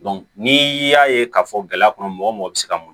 n'i y'a ye k'a fɔ gɛlɛya kɔnɔ mɔgɔ mɔgɔ bɛ se ka